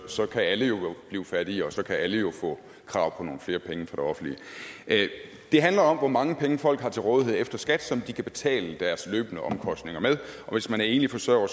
så kan alle jo blive fattige og så kan alle jo få krav på nogle flere penge fra det offentlige det handler om hvor mange penge folk har til rådighed efter skat som de kan betale deres løbende omkostninger med og hvis man er enlig forsørger